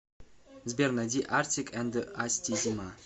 сбер найди артик энд асти зима